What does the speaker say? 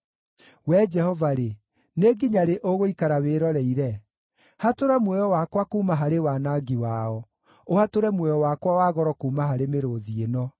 Wee Jehova-rĩ, nĩ nginya rĩ ũgũikara wĩroreire? Hatũra muoyo wakwa kuuma harĩ wanangi wao, ũhatũre muoyo wakwa wa goro kuuma harĩ mĩrũũthi ĩno.